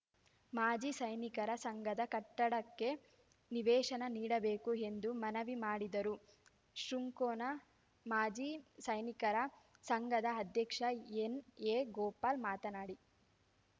ಮಾಜಿ ಸೈನಿಕರ ಸಂಘದ ಕಟ್ಟಡಕ್ಕೆ ನಿವೇಶನ ನೀಡಬೇಕು ಎಂದು ಮನವಿ ಮಾಡಿದರು ಶೃಂಕೊನ ಮಾಜಿ ಸೈನಿಕರ ಸಂಘದ ಅಧ್ಯಕ್ಷ ಎನ್‌ಎಗೋಪಾಲ್‌ ಮಾತನಾಡಿ